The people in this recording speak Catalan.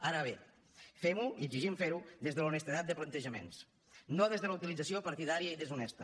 ara bé fem ho i exigim fer ho des de l’honestedat de plantejaments no des de la utilització partidària i deshonesta